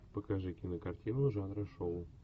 покажи кинокартину жанра шоу